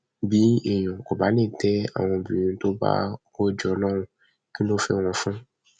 bí èèyàn kò bá lè tẹ àwọn obìnrin tó bá bá kó jọ lọrùn kí ló ń fẹ wọn fún